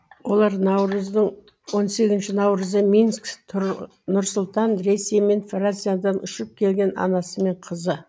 олар он сегізінші наурызы минск нұр сұлтан рейсімен франциядан ұшып келген анасы мен қызы